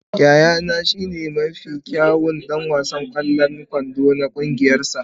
Yayana shine mafi kyawun ɗan wasan ƙwallon kwando a cikin ƙungiyarsa.